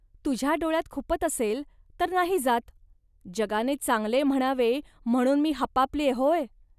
तुझ्या डोळ्यांत खुपत असेल, तर नाही जात. जगाने चांगले म्हणावे म्हणून मी हपापल्ये, होय